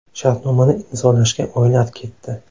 Shartnomani imzolashga oylar ketdi.